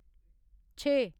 छे